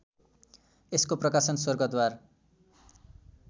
यसको प्रकाशन स्वर्गद्वार